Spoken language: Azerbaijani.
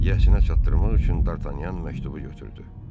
Yəsənə çatdırmaq üçün Dartanyan məktubu götürdü.